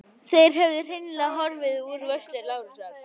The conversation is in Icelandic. Þær höfðu hreinlega horfið úr vörslu Lárusar.